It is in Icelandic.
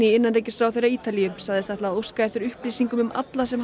innanríkisráðherra Ítalíu sagðist ætla að óska eftir upplýsingum um alla sem